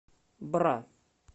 бра